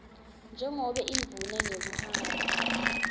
njengobe indvuna ngekuhamba